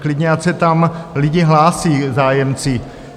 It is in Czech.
Klidně ať se tam lidi hlásí, zájemci.